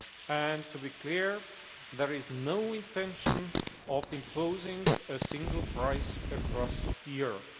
And to be clear there is no intention of imposing a single price across Europe.